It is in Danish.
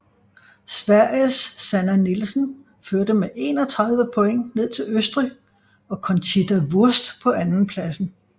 Sveriges Sanna Nielsen førte med 31 point ned til Østrig og Conchita Wurst på andenpladsen